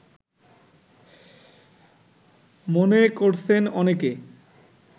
মনে করছেন অনেকে